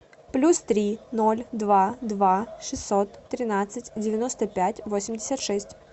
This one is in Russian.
плюс три ноль два два шестьсот тринадцать девяносто пять восемьдесят шесть